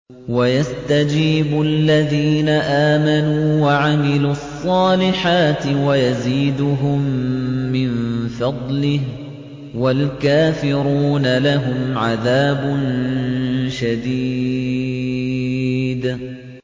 وَيَسْتَجِيبُ الَّذِينَ آمَنُوا وَعَمِلُوا الصَّالِحَاتِ وَيَزِيدُهُم مِّن فَضْلِهِ ۚ وَالْكَافِرُونَ لَهُمْ عَذَابٌ شَدِيدٌ